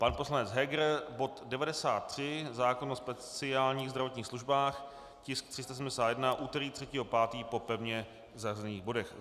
Pan poslanec Heger bod 93, zákon o speciálních zdravotních službách, tisk 371, úterý 3. 5. po pevně zařazených bodech.